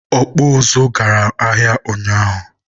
ọkpụ ụzụ gara ahịa ụnyaahụ.